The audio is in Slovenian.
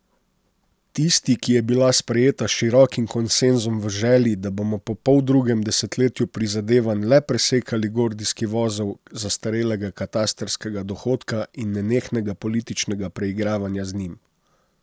Tisti, ki je bila sprejeta s širokim konsenzom v želji, da bomo po poldrugem desetletju prizadevanj le presekali gordijski vozel zastarelega katastrskega dohodka in nenehnega političnega preigravanja z njim.